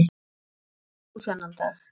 Hvar varst þú þennan dag?